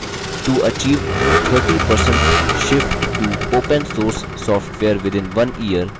to achieve 30% shift to opensource software within 1 year